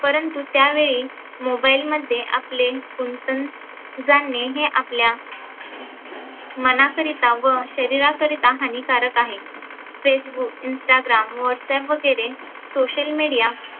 परंतू त्यावेळी mobile मध्ये आपले गुंतून जाणे हे आपल्या मनाकरीता व शरीरा करिता हानीकारक आहे. Facebook, Instagram, WhatsApp वगैरे social media